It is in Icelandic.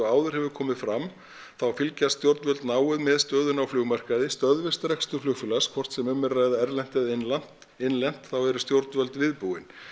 áður hefur komið fram þá fylgjast stjórnvöld náið með stöðunni á stöðvist rekstur flugfélags hvort sem um er að ræða erlent eða innlent innlent þá eru stjórnvöld viðbúin